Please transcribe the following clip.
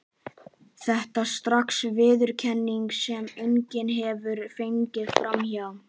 Þetta er strax viðurkenning, sem enginn getur gengið fram hjá.